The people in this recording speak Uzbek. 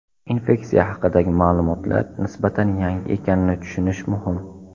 Infeksiya haqidagi ma’lumotlar nisbatan yangi ekanini tushunish muhim.